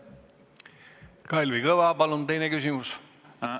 Kalvi Kõva, palun teine küsimus!